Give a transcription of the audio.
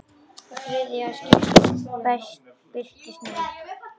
Í þriðja skiptið birtist núll.